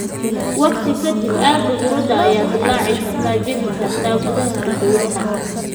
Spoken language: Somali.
Waqti ka dib, aagga huurada ayaa dillaaci karta (jebi karta) gudaha halbowlaha.